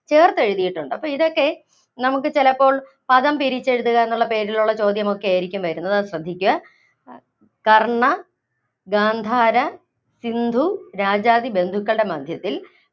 ചേര്‍ത്തെഴുതിയിട്ടുണ്ട്. അപ്പോ ഇതൊക്കെ നമുക്ക് ചിലപ്പോള്‍ പദം പിരിച്ച് എഴുതുക എന്നുള്ള പേജിലുള്ള ചോദ്യമൊക്കെയായിരിക്കും വരുന്നത്, അത് ശ്രദ്ധിയ്ക്കുക. കര്‍ണ്ണ, ഗാന്ധാര, സിന്ധു രാജാദി ബന്ധുക്കളുടെ മദ്ധ്യത്തില്‍